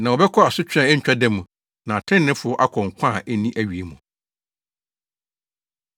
“Na wɔbɛkɔ asotwe a ɛto ntwa da mu, na atreneefo akɔ nkwa a enni awiei mu.”